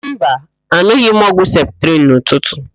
Mba, an̄ụghị m ọgwụ septrịn n'ụtụtụ.